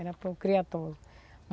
Era para o criatório.